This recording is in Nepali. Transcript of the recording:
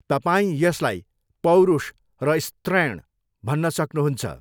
तपाईँ यसलाई पौरुष र स्त्रैण भन्न सक्नुहुन्छ।